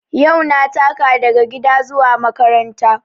Yau na taka daga gida zuwa makaranta